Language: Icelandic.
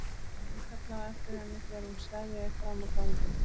Hann kallaði á eftir henni þegar hún steðjaði fram á ganginn.